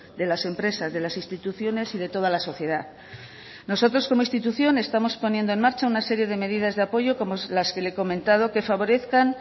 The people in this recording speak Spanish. de las empresas de las instituciones y de toda la sociedad nosotros como institución estamos poniendo en marcha una serie de medidas de apoyo como las que le he comentado que favorezcan